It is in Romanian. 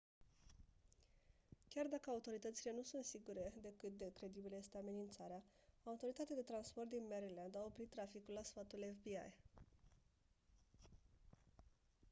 chiar dacă autoritățile nu sunt sigure de cât de credibilă este amenințarea autoritatea de transport din maryland oprit traficul la sfatul fbi